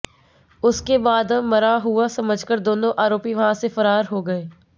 उसके बाद मरा हुआ समझकर दोनों आरोपी वहां से फरार हो गए